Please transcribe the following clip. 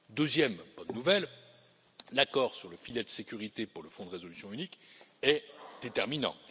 Deuxième bonne nouvelle, l'accord sur le filet de sécurité pour le fonds de résolution unique est déterminant.